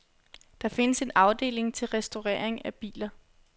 Der findes en afdeling til restaurering af biler.